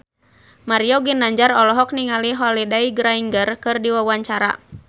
Mario Ginanjar olohok ningali Holliday Grainger keur diwawancara